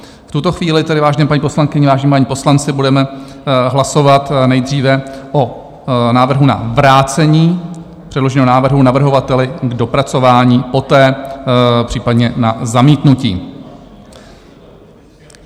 V tuto chvíli tedy, vážené paní poslankyně, vážení páni poslanci, budeme hlasovat nejdříve o návrhu na vrácení předloženého návrhu navrhovateli k dopracování, poté případně na zamítnutí.